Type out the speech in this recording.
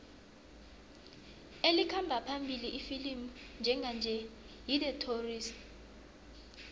elikhamba phambili ifilimu njenganje yi the tourist